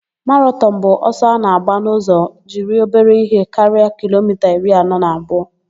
Maratọn bụ ọsọ a na-agba n'ụzọ jiri obere ihe karịa kilomita iri anọ na abụọ.